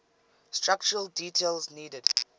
structural details needed